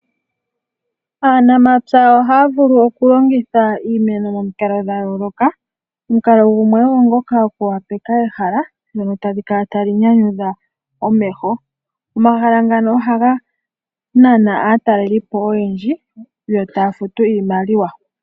Aanamapya ohaya vulu okulongitha iimeno momikalo dha yooloka. Omukalo gumwe ogo ngoka okwoopaleka ehala ndono tali kala tali nyanyudha omeho. Omahala ngano ohaga nana aatalelipo oyendji yo taya futu iimaliwa.